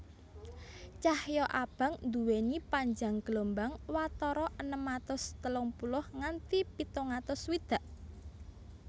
Cahya abang nduwèni panjang gelombang watara enem atus telung puluh nganti pitung atus swidak